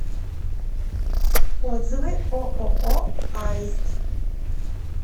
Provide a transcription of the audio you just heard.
отзывы ооо аист